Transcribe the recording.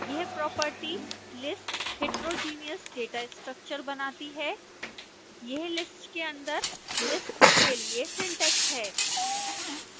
this property makes यह property lists heterogeneous data structures बनाती है यह list के अंदर list के लिए सिंटैक्स है